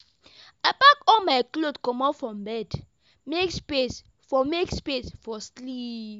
I pack all my clothes comot from bed, make space for make space for sleep.